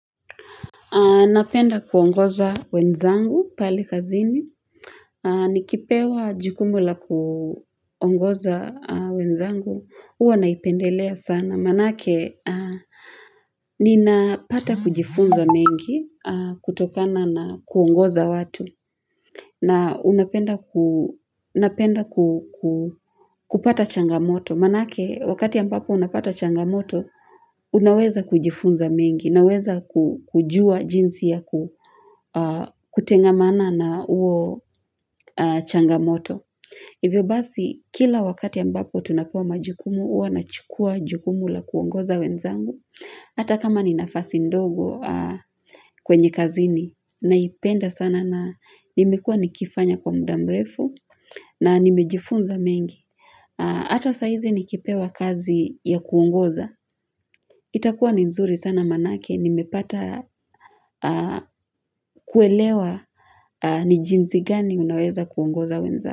Napenda kuongoza wenzangu pale kazini. Nikipewa jukumu la kuongoza wenzangu huwa naipendelea sana. Manake, ninapata kujifunza mengi kutokana na kuongoza watu. Na napenda kupata changamoto. Manake, wakati ya ambapo unapata changamoto, Unaweza kujifunza mengi naweza kujua jinsi ya kutengamana na huo changamoto Hivyo basi kila wakati ambapo tunapewa majukumu huwa nachukua jukumu la kuongoza wenzangu Hata kama ni nafasi ndogo kwenye kazini naipenda sana na nimekuwa nikifanya kwa muda mrefu na nimejifunza mengi Ata saizi nikipewa kazi ya kuongoza. Itakuwa ni nzuri sana manake nimepata kuelewa ni jinsi gani unaweza kuongoza wenza.